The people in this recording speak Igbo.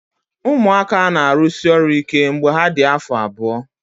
Ụmụaka na-arụsi ọrụ ike mgbe ha dị afọ abụọ